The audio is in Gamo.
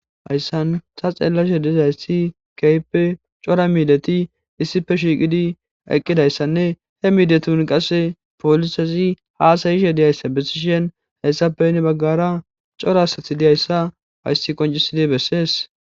hayssan ta xeellashe dizayssi keype cora miideti issife shiiqidi eqqidayssanne he miidetun qase polisazi haasayishe diyayssa bessishen hayssappeyne baggara cora asath diyayssa hayssi qoncisida bessees